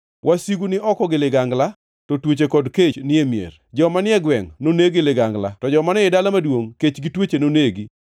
Wasigu ni oko gi ligangla; to tuoche kod kech ni e mier. Joma ni e gwengʼ noneg gi ligangla; to joma ni ei dala maduongʼ kech gi tuoche nonegi.